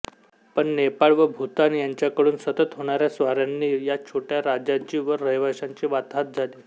पण नेपाळ व भूतान यांच्याकडून सतत होणाऱ्या स्वाऱ्यांनी या छोट्या राज्याची व रहिवाश्यांची वाताहात झाली